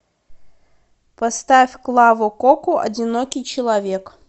поставь клаву коку одинокий человек